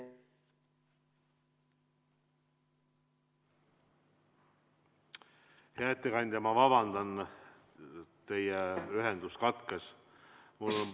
Hea ettekandja, ma vabandan, aga teie ühendus katkes!